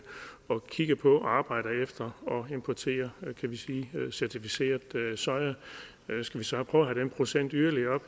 at kigge på og arbejder efter at importere certificeret soja skal vi så prøve at have den procent yderligere